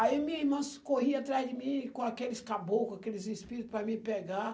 Aí minha irmã corria atrás de mim com aqueles caboclo, aqueles espírito para me pegar.